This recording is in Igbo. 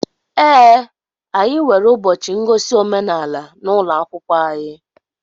Ee, anyị nwere ụbọchị ngosi omenaala n'ụlọ akwụkwọ anyị